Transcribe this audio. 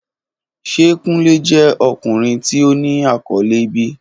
Ṣe Kunle jẹ ọkunrin ti o ni akọle bi?